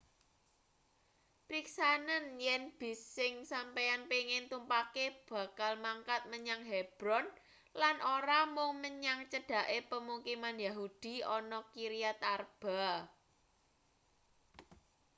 priksanen yen bis sing sampeyan pengin tumpake bakal mangkat menyang hebron lan ora mung menyang cedhake pemukiman yahudi ana kiryat arba